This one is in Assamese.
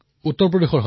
উত্তৰ প্ৰদেশৰ